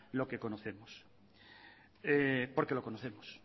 lo que conocemos porque lo conocemos